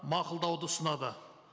мақұлдауды ұсынады